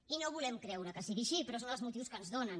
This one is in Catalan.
i no volem creure que sigui així però són els motius que ens donen